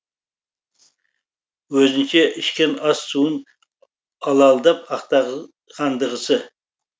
өзінше ішкен ас суын алалдап ақтағандағысы